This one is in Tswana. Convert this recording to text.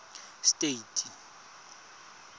states